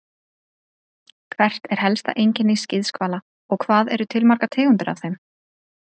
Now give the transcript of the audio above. Hvert er helsta einkenni skíðishvala og hvað eru til margar tegundir af þeim?